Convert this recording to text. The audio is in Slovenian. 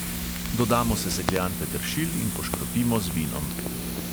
Dodamo sesekljan peteršilj in poškropimo z vinom.